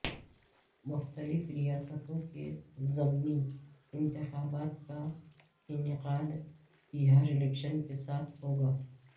مختلف ریاستوں کے ضمنی انتخابات کا انعقادبہارالیکشن کے ساتھ ہوگا